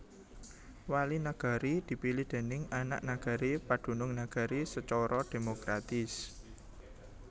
Wali Nagari dipilih déning anak nagari padunung nagari sacara demokratis